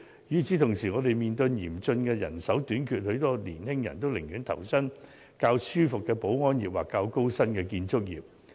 與此同時，我們面對嚴竣的人手短缺，很多年輕人寧願投身較舒服的保安業或較高薪的建築業。